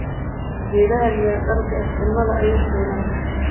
Geedhga mira dhalka eh cunudha ayukeena.